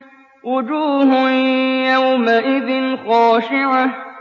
وُجُوهٌ يَوْمَئِذٍ خَاشِعَةٌ